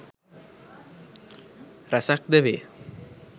රැසක් ද වේ.